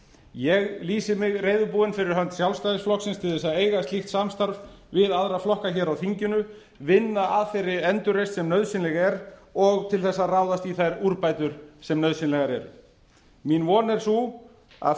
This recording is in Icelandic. ég lýsi mig reiðubúinn fyrir hönd sjálfstæðisflokksins til þess að eiga slíkt samstarf við aðra flokka hér á þinginu vinna að þeirri endurreisn sem nauðsynleg er og til þess að ráðast í þær úrbætur sem nauðsynlegar eru mín von er sú að